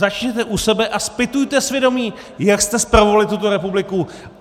Začněte u sebe a zpytujte svědomí, jak jste spravovali tuto republiku!